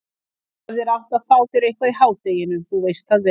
Þú hefðir átt að fá þér eitthvað í hádeginu, þú veist það vel.